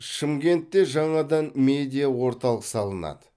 шымкентте жаңадан медиа орталық салынады